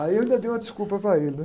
Aí eu ainda dei uma desculpa para ele, né?